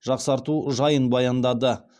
жақсарту жайын баяндады